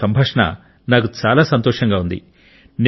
మీతో సంభాషణ నాకు చాలా సంతోషంగా ఉంది